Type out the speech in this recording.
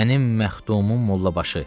Mənim məxdumum Mollabaşı.